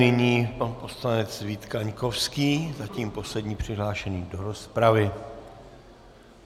Nyní pan poslanec Vít Kaňkovský, zatím poslední přihlášený do rozpravy.